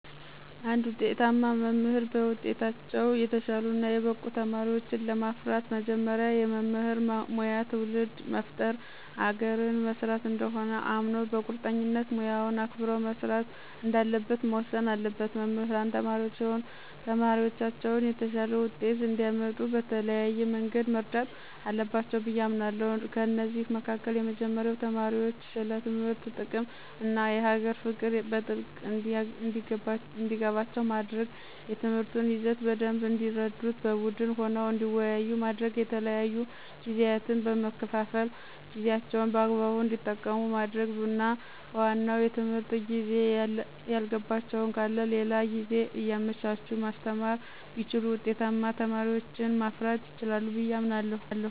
እንድ ውጤታማ መምህር በውጤታቸው የተሻሉ እና የበቁ ተማሪወችን ለማፍራት መጀመሪያ የመምህር ሙያ ትውልድ መፍጠር አገርን መስራት እንደሆነ አምኖ በቁርጠኝነት ሙያውን አክብሮ መስራት እንዳለበት መወሰን አለበት። መምህራን ተማሪዎቻቸውን የተሻለ ውጤት እንዲአመጡ በተለያየ መንገድ መርዳት አለባቸው ብዬ አምናለሁ። ከእነዚህም መካከል የመጀመሪያው ተማሪዎች ስለ ትምህርት ጥቅም እና የሀገር ፍቅር በጥልቀት እንዲገባቸው ማድረግ፣ የትምህርቱን ይዘት በደንብ እንዲረዱት በቡድን ሆነው እንዲወያዩ ማድረግ፣ የተለያዩ ጊዜያትን በመከፋፈል ጊዜአቸውን በአግባቡ እንዲጠቀሙ ማድረግና በዋናው የትምህርት ጊዜ ያልገባቸው ካለ ሌላ ጊዜ እያመቻቹ ማስተማር ቢችሉ ውጤታማ ተማሪዎችን ማፍራት ይችላሉ ብየ አምናለሁ።